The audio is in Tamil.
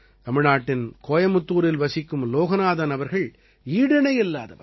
தமிழ்நாட்டின் கோயமுத்தூரில் வசிக்கும் லோகநாதன் அவர்கள் ஈடிணையில்லாதவர்